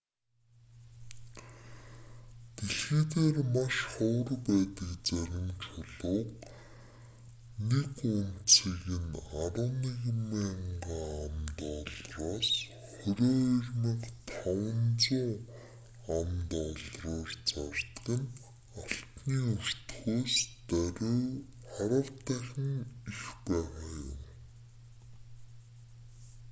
дэлхий дээр маш ховор байдаг зарим чулууг нэг унцыг нь 11,000 ам.доллараас 22,500 ам.доллараар зардаг нь алтны өртгөөс даруй арав дахин их байгаа юм